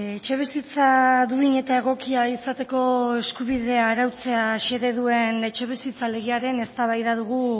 etxebizitza duin eta egokia izateko eskubidea arautzea xede duen etxebizitza legearen eztabaida dugu